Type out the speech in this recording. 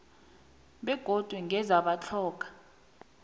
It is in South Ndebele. begodu ngeze batlhoga